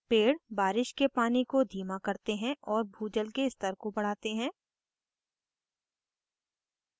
पेड़ बारिश के पानी को धीमा करते हैं और भूजल के स्तर को बढ़ाते हैं